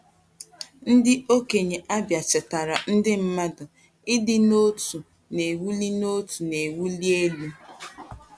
Ndị okenye Abia chetaara ndị mmadụ: “Ịdị n’otu na-ewuli n’otu na-ewuli elu.”